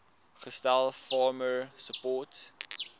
gestel farmer support